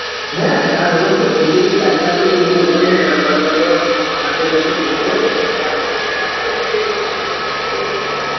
হ্যাঁ চাষবাস তো করছি রে তাছাড়া তো কোন উপায় নাই রে আমারা তো আর চাকরি বাকরি খুজতে পারব না তার জন্যই চাষে বাসে নেমে পরেছি কী করব বল.